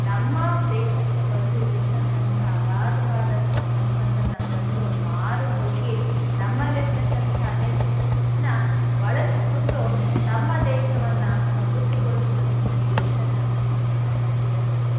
ನಮ್ಮ ದೇಶಕ್ಕೆ ಬಂದು ಇಲ್ ಇರ್ತಕ್ಕಂಥ ಆಗಾಧವಾದಂಥ ಸಂಪತ್ತನ್ನ ಕಂಡು ಮಾರು ಹೋಗಿ ನಮಲ್ಲಿರ್ತಕ್ಕಂಥ ಅನೈಕ್ಯತೆಯನ್ನ ಬಳಸ್ಕೊಂಡು ತಮ್ಮ ದೇಶವನ್ನ ಸಮೃದ್ಧಿಗೊಳಿಸುವ ನಿಟ್ನಲ್ಲಿ ಇಲ್ಲಿರ್ತಕ್ಕಂಥ ಸಂಪತ್ತನ್ನ ಸೂರೆ ಹೊಡುದ್ರು,